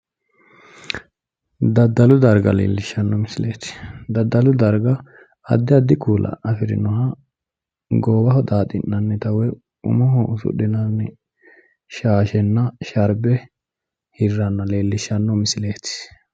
Daddalu darga leellishshanno misileeti. Daddalu darga addi addi kuula goowaho xaaxi'nanni shaashenna sharbe hirranna leellishshanno misileeti.